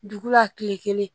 Dugu la tile kelen